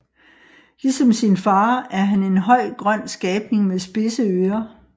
Ligesom sin fader er han en høj grøn skabning med spidse ører